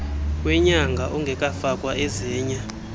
wenyanga ongekafakwa ezinye